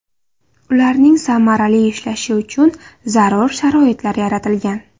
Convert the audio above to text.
Ularning samarali ishlashi uchun zarur sharoitlar yaratilgan.